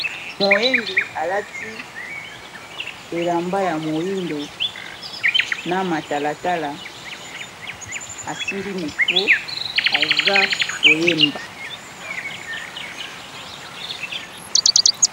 Moyembi alati elamba ya moyindo na matalatala asimbi mecro aza koyemba.